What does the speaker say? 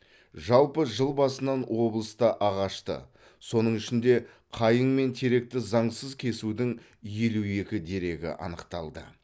жалпы жыл басынан облыста ағашты соның ішінде қайың мен теректі заңсыз кесудің елу екі дерегі анықталды